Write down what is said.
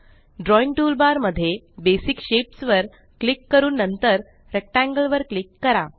drawing toolbar मध्ये basic shapes वर click करून नंतर रेक्टेंगल वर क्लिक करा